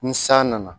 Ni san nana